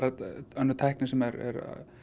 önnur tækni sem er